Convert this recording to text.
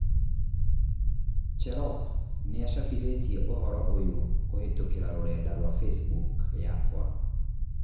cherop nĩacabithitie ũhoro ũyũkũhītũkīra rũrenda rũa facebook yakwa